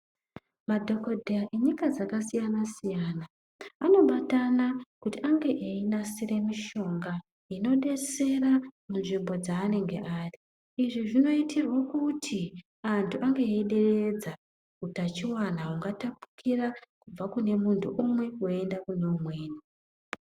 Madhokodheya enyika dzakasiyana siyana anobatana kuti ange einasire mishonga inodetsera munyika dzaanenge ari, izvi zvinoitirwa kuti antu ange eideredza utachiwana ungatapukira kubva kune muntu umwe weienda kune umweni.